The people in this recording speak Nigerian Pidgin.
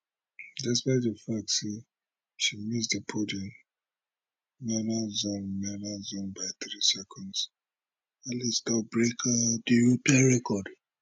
despite di fact say she miss di podium medal zone medal zone by 3 seconds alice don break um di european record